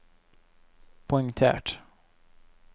poengtert